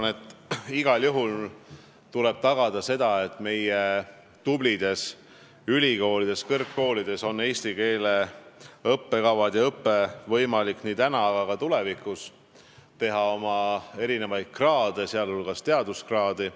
Ma arvan, et igal juhul tuleb tagada, et meie tublides kõrgkoolides on eestikeelsed õppekavad ja eestikeelne õpe võimalik täna, aga ka tulevikus ning on võimalus teha erinevaid teaduskraade.